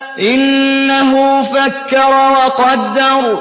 إِنَّهُ فَكَّرَ وَقَدَّرَ